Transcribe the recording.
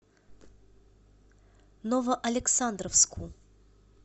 новоалександровску